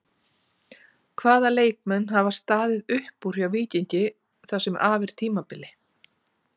Hvaða leikmenn hafa staðið upp úr hjá Víkingi það sem af er tímabili?